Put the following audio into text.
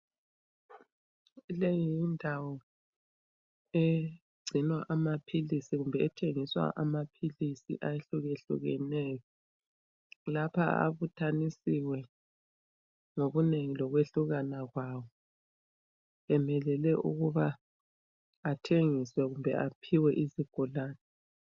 Leyi yindawo egcinwa amaphilisi kumbe ethengiswa amaphilisi ahlukehlukeneyo. Lapha abutshanisiwe ngokunengi lokwehlukana kwawo, emelele ukuba athengiswe kumbe aphiwe izigulane.